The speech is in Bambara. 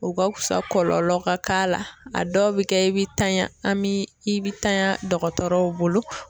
O ka fusa kɔlɔlɔ ka k'a la, a dɔw bɛ kɛ i bɛ tanya an bɛ i bɛ tanya dɔgɔtɔrɔw bolo.